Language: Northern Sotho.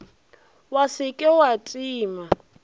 wa se ke wa tima